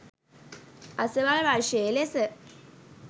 අසවල් වර්ෂයේ ලෙස